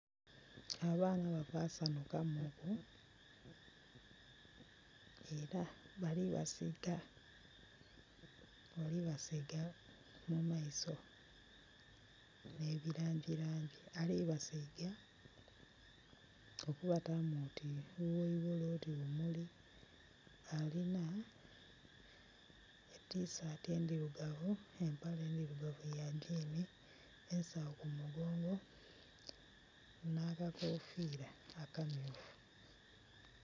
Abaana bava sanhuka muku era balibasiga mu maiso ne bilangi langi, alibasiiga okubatamu oti bugheigholo oti bumuli alina tisati endhirugavu, empale ndhirugavu ya gini ensagho ku mugongo nakakofira akamyufu.